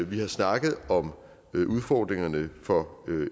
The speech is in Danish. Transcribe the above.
vi har snakket om udfordringerne for